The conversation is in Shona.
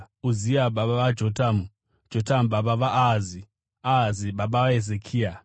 Uzia baba vaJotamu, Jotamu baba vaAhazi, Ahazi baba vaHezekia.